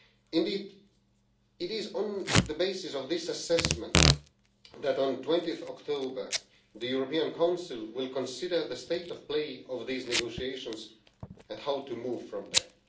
Indeed, it is on the basis of this assessment that, on 20 October, the European Council will consider the state of play in these negotiations and how to move from there.